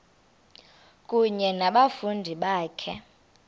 kunye nabafundi bakho